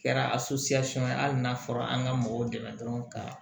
Kɛra ye hali n'a fɔra an ka mɔgɔw dɛmɛ dɔrɔn ka